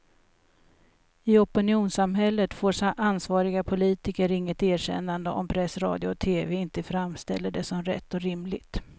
I opinionssamhället får ansvariga politiker inget erkännande om press, radio och tv inte framställer det som rätt och rimligt.